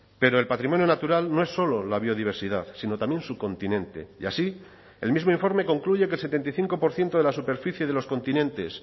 pero el patrimonio natural no es solo la biodiversidad sino también su continente y así el mismo informe concluye que el setenta y cinco por ciento de la superficie de los continentes